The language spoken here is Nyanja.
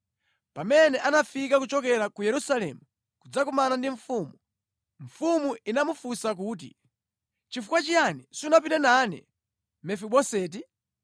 Pamene anafika kuchokera ku Yerusalemu kudzakumana ndi mfumu, mfumu inamufunsa kuti, “Nʼchifukwa chiyani sunapite nane Mefiboseti?”